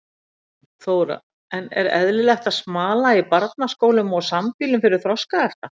Þóra: En er eðlilegt að smala í barnaskólum og sambýlum fyrir þroskahefta?